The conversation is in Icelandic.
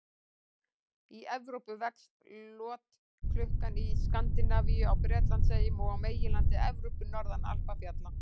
Í Evrópu vex lotklukkan í Skandinavíu, á Bretlandseyjum og á meginlandi Evrópu, norðan Alpafjalla.